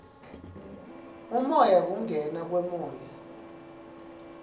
umoya kungena kwemoya